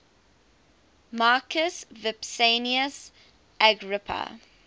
marcus vipsanius agrippa